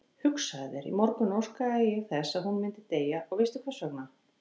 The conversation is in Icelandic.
Hugsaðu þér, í morgun óskaði ég þess að hún myndi deyja og veistu hversvegna?